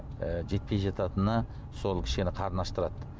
і жетпей жататыны сол кішкене қарын аштырады